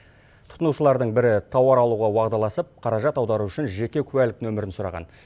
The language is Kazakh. тұтынушылардың бірі тауар алуға уағдаласып қаражат аудару үшін жеке куәлік нөмірін сұраған